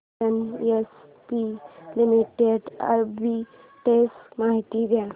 NHPC limited arbitrage माहिती दे